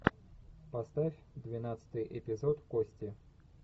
поставь двенадцатый эпизод кости